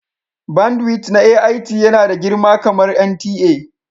bandwidth na AIT yana da girma kamar NTA